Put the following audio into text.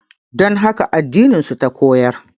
Don haka addinin su ta koyar